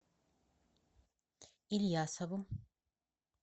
ильясову